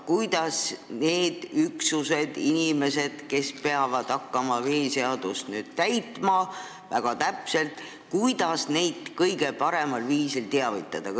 Kuidas neid üksusi ja inimesi, kes peavad hakkama veeseadust väga täpselt täitma, kõige paremal viisil teavitada?